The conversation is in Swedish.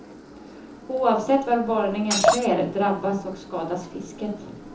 Oavsett var borrningen sker drabbas och skadas fisket.